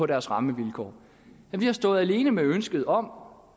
deres rammevilkår vi har stået alene med ønsket om